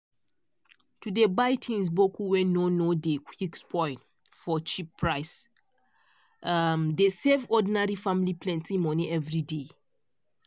to dey buy things boku wey nor nor dey quick spoil for cheap price um dey save ordinary family plenty money everyday.